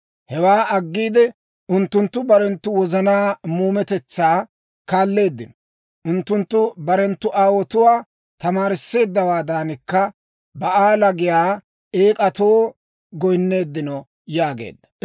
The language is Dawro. Hewaa aggiide, unttunttu barenttu wozanaa muumetetsaa kaalleeddino; unttunttu barenttu aawotuwaa tamaarisseeddawaadankka Ba'aala giyaa eek'atoo goyinneeddino» yaageedda.